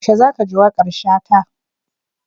Yaushe za ka ji waƙar Shata?